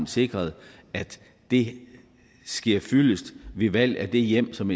sikret at det sker fyldest ved valg at det hjem som